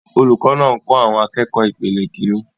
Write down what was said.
Olùkọ́ náà ń kọ́ àwọn akẹ́kọ̀ọ́ ìpele Kínní.